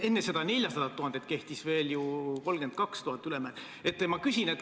Enne seda 400 000 euro suurust määra kehtis ju 32 000 euro suurune ülemmäär.